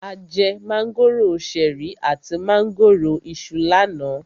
A jẹ mángòrò ṣẹ̀rí àti mángòrò Iṣu lánàá.